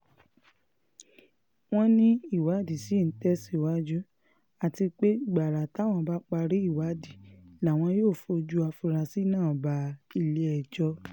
wọ́n ní ìwádìí ṣì ń tẹ̀síwájú àti pé gbàrà táwọn bá parí ìwádìí làwọn yóò fojú afurasí náà bá ilé-ẹjọ́